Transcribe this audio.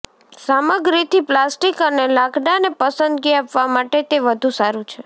સામગ્રીથી પ્લાસ્ટિક અને લાકડાને પસંદગી આપવા માટે તે વધુ સારું છે